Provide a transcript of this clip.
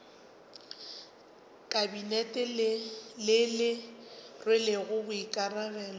kabinete le le rwelego boikarabelo